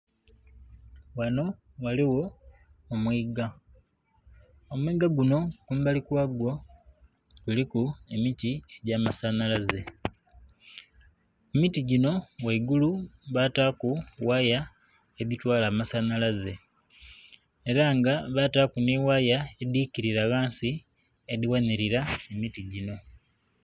Ghano ghaligho omwiiga, omwiiga guno kumbali kwagwo kuliku emiti egy'amasanhalaze. Emiti gino ghaigulu baataku waya edhitwala amasanhalaze ela nga baataku ni waya edhikilira ghansi edhighanilira emiti gino.